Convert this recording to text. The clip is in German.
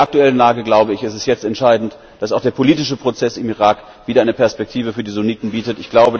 In der aktuellen Lage ist es jetzt entscheidend, dass auch der politische Prozess im Irak wieder eine Perspektive für die Sunniten bietet.